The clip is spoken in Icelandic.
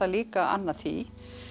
líka að anna því